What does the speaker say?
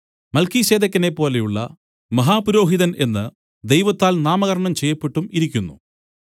മൽക്കീസേദെക്കിനെ പോലെയുള്ള മഹാപുരോഹിതൻ എന്ന് ദൈവത്താൽ നാമകരണം ചെയ്യപ്പെട്ടും ഇരിക്കുന്നു